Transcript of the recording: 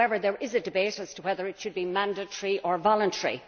However, there is a debate as to whether it should be mandatory or voluntary.